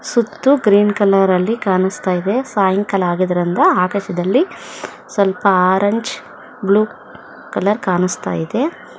ಸುತ್ತು green colour ಅಲ್ಲಿ ಕಾಣುಸ್ತಾ ಇದೆ ಸಾಯಂಕಾಲ ಆಗಿದ್ದರಿಂದ ಆಕಾಶದಲ್ಲಿ ಸ್ವಲ್ಪ ಆರೆಂಜ್ ಬ್ಲೂ ಕಲರ್ ಕಾಣಿಸ್ತಾ ಇದೆ.